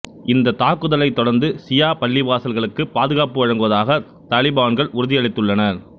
இந்த தாக்குதலைத் தொடர்ந்து சியா பள்ளிவாசல்களுக்கு பாதுகாப்பு வழங்குவதாக தலிபான்கள் உறுதியளித்துள்ளனர்